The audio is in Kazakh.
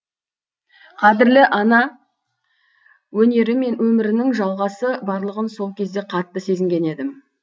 қадірлі ана өнері мен өмірінің жалғасы барлығын сол кезде қатты сезінген едім